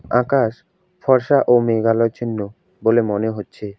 আকাশ ফর্সা ও মেঘালো চিহ্ন বলে মনে হচ্ছে।